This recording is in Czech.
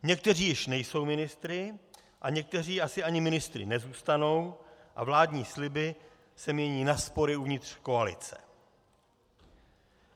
Někteří již nejsou ministry a někteří asi ani ministry nezůstanou a vládní sliby se mění na spory uvnitř koalice.